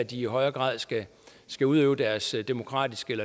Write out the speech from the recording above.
de i højere grad skal skal udøve deres demokratiske